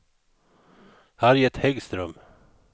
Harriet Häggström